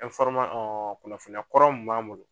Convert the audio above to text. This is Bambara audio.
kunnafoniyakɔrɔ mun b'an bolo.